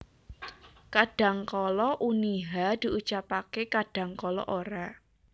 Kadhangkala uni /h/ diucapaké kadhangkala ora